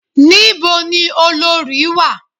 Ní bo ni olorì wà?